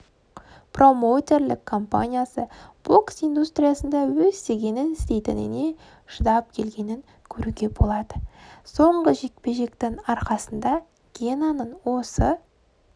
промоутерлік компаниясы бокс индустриясында өз дегенін істейтініне шыдап келгенін көруге болады соңғы жекпе-жектің арқасындагенаның осы